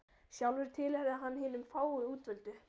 Sjálfur tilheyrði hann hinum fáu útvöldu.